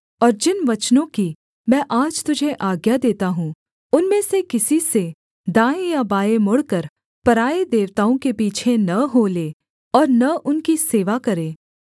और जिन वचनों की मैं आज तुझे आज्ञा देता हूँ उनमें से किसी से दाएँ या बाएँ मुड़कर पराए देवताओं के पीछे न हो ले और न उनकी सेवा करे